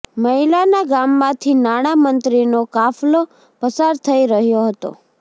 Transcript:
મહિલાના ગામમાંથી નાણાં મંત્રીનો કાફલો પસાર થઈ રહ્યો હતો